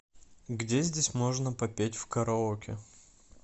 где здесь можно попеть в караоке